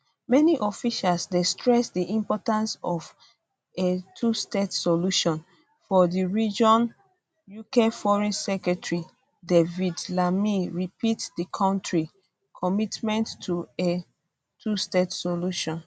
many officials dey stress di importance of a twostate solution for di region ukforeign secretary david lammy repeat di country commitment to a twostate solution